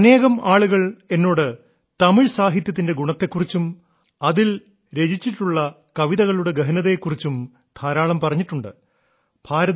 അനേകം ആളുകൾ എന്നോട് തമിഴ് സാഹിത്യത്തിന്റെ ഗുണത്തെ കുറിച്ചും അതിൽ രചിച്ചിട്ടുള്ള കവിതകളുടെ ഗഹനതയെ കുറിച്ചും ധാരാളം പറഞ്ഞിട്ടുണ്ട്